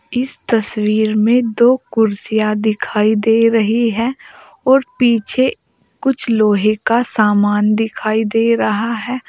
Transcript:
इस तस्वीर में दो कुर्सियां दिखाई दे रही हैं और पीछे कुछ लोहे का सामान दिखाई दे रहा है।